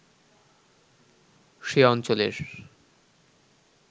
সে অঞ্চলের